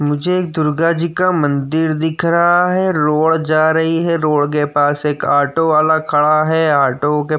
मुझे एक दुर्गा जी का मंदिर दिख रहा है। लोड जा रही है। रोड के पास एक ऑटो वाला खड़ा है। ऑटो के --